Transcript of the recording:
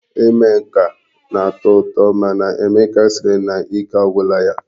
Ime nka na-atọ ụtọ mana Emeka sịrị na ike agwụla ya.